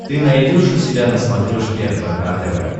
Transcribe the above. ты найдешь у себя на смотрешке рбк тв